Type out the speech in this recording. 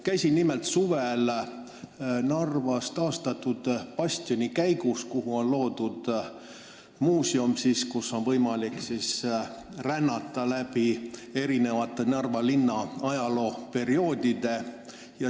Käisin nimelt suvel Narvas taastatud bastionikäigus, kuhu on loodud muuseum, kus on võimalik rännata läbi erinevate Narva linna ajalooperioodide.